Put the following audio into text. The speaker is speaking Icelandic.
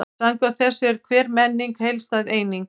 Samkvæmt þessu er hver menning heildstæð eining.